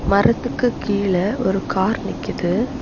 மரத்துக்கு கீழ ஒரு கார் நிக்குது.